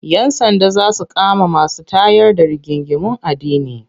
Yan sanda za su kama masu tayar da rigingimun addini.